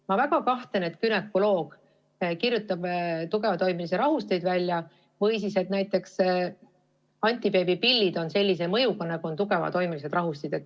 Ma väga kahtlen selles, et günekoloog kirjutab välja tugevatoimelisi rahusteid või et näiteks antibeebipillidel on selline mõju, nagu on tugevatoimelistel rahustitel.